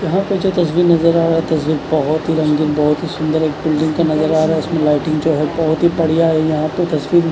यहाँ पीछे तसवीर नज़र आ रहा है तस्वीर बोहोत ही रंगीन बोहोत ही सुन्दर एक बिल्डिंग क नज़ारा आ रहा है इसमें जो लाइटिंग है बोहोत ही बढ़िया है यहाँ पे तस्वीर--